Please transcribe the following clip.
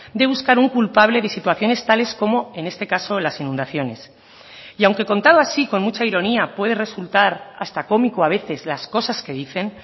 de buscar un culpable de situaciones tales como en este caso las inundaciones y aunque contado así con mucha ironía puede resultar hasta cómico a veces las cosas que dicen